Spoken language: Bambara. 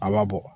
A ma bɔ